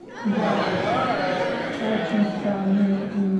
да очень странное имя